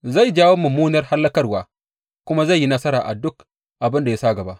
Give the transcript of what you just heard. Zai jawo mummunar hallakarwa kuma zai yi nasara a duk abin da ya sa gaba.